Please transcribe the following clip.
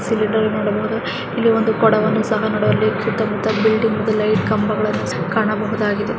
Cylinder ನೋಡಬಹುದು ಇಲ್ಲಿ ಒಂದು ಕೊಡವನ್ನು ಸಹ ಕಾಣಬಹುದು ಸುತ್ತ ಮುತ್ತ ಬಿಲ್ಡಿಂಗ್ಸ್ ಲೈಟ್ ಕಂಬಗಳನ್ನ ಸಹ ನಾವಿಲ್ಲಿ ಕಾಣಬಹುದಾಗಿದೆ.